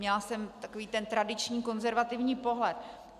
Měla jsem takový ten tradiční konzervativní pohled.